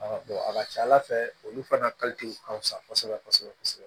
a ka ca ala fɛ olu fana ka ka fisa kosɛbɛ kosɛbɛ kosɛbɛ